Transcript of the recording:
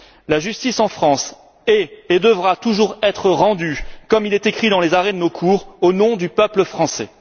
La justice en France est et devra toujours être rendue, comme il est écrit dans les arrêts de nos cours, au nom du peuple français.